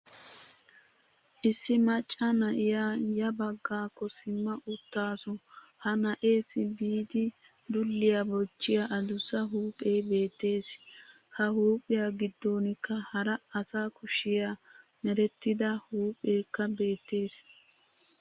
Issi macca na'iya ya baggakko simma uttaasu ha na'eessi biidi dulliya bochchiya adussa huuphphee beettes. Ha huuphiya giddonkka hara asa kushiya merettida huupheekka beettes.